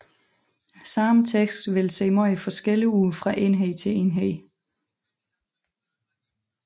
Samme tekst vil se meget forskellig ud fra enhed til enhed